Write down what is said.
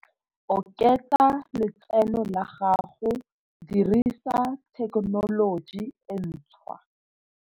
Oketsa letseno la gago, dirisa thekenoloji e ntshwa.